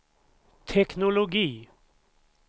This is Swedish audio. teknologi